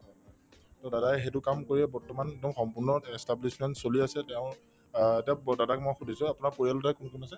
to দাদায়ে সেইটো কাম কৰিয়ে বৰ্তমান একদম সম্পূৰ্ণ establishment চলি আছে তেওঁৰ অ তেওঁক দাদাক মই সুধিছো আপোনাৰ পৰিয়ালতে কোন কোন আছে